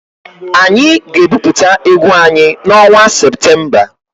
Anyị ga-ebupụta egwu anyị n'ọnwa Septemba.